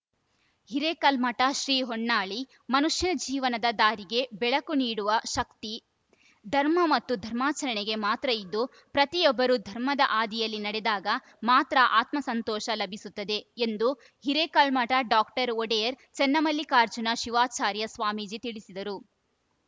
ಹಿರೇಕಲ್ಮಠ ಶ್ರೀ ಹೊನ್ನಾಳಿ ಮನುಷ್ಯನ ಜೀವನದ ದಾರಿಗೆ ಬೆಳಕು ನೀಡುವ ಶಕ್ತಿ ಧರ್ಮ ಮತ್ತು ಧರ್ಮಾಚರಣೆಗೆ ಮಾತ್ರ ಇದ್ದು ಪ್ರತಿಯೊಬ್ಬರೂ ಧರ್ಮದ ಹಾದಿಯಲ್ಲಿ ನಡೆದಾಗ ಮಾತ್ರ ಅತ್ಮಸಂತೋಷ ಲಭಿಸುತ್ತದೆ ಎಂದು ಹಿರೇಕಲ್ಮಠ ಡಾಕ್ಟರ್ ಒಡೆಯರ್‌ ಚನ್ನಮಲ್ಲಿಕಾರ್ಜುನ ಶಿವಾಚಾರ್ಯ ಸ್ವಾಮೀಜಿ ತಿಳಿಸಿದರು